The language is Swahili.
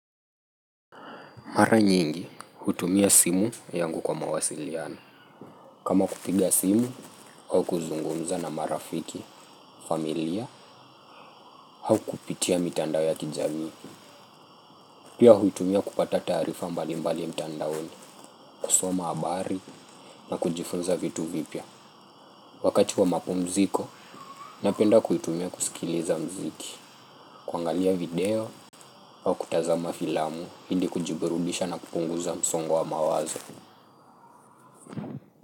Mara nyingi, hutumia simu yangu kwa mawasiliano. Kama kupiga simu, au kuzungumza na marafiki, familia, au kupitia mitandao ya kijamii. Pia hutumia kupata tarifa mbali mbali mtandaoni, kusoma habari na kujifunza vitu vipya. Wakati wa mapumziko, napenda kuitumia kusikiliza mziki. Kuangalia video, au kutazama filamu, ili kujibirudisha na kupunguza msongo wa mawazo.